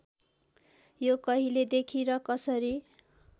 यो कहिलेदेखि र कसरी